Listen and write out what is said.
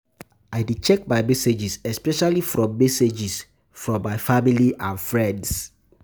I dey check my messages, especially from messages, especially from my family and friends.